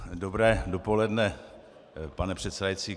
Dobré dopoledne, pane předsedající.